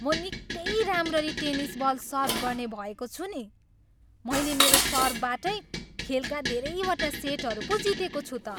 म निकै राम्ररी टेनिस बल सर्भ गर्ने भएको छु नि। मैले मेरो सर्भबाटै खेलका धेरैवटा सेटहरू पो जितेको छु त।